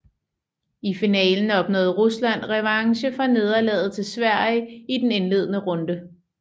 I finalen opnåede Rusland revanche for nederlaget til Sverige i den indledende runde